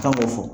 Kan k'o fɔ